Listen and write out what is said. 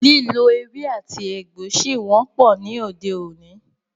Lílo ewé àti egbò ṣí wọ́pọ̀ ní òde òní.